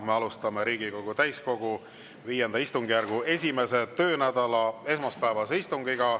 Me alustame Riigikogu täiskogu V istungjärgu 1. töönädala esmaspäevast istungit.